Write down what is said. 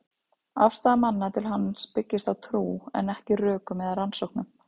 Afstaða manna til hans byggist á trú, en ekki rökum eða rannsóknum.